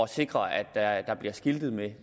sikre at der bliver skiltet med